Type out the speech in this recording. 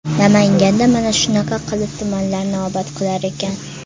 Namanganda mana shunaqa qilib tumanlarni obod qilar ekan.